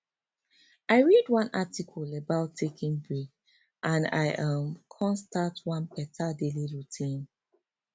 i read one article about taking break and i um come start one better daily routine